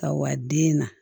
Ka wa den na